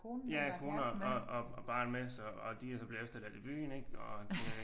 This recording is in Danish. Ja konen og barn med så og de er så blevet efterladt i byen ik og det